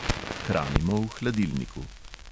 Hranimo v hladilniku.